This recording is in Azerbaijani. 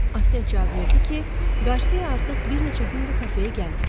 Afsiyan cavab verdi ki, Qarsia artıq bir neçə gündü kafeyə gəlmir.